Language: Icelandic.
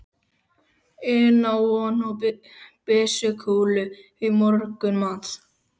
inn á von á byssukúlu í morgunmat.